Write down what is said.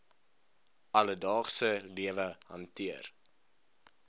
alledaagse lewe hanteer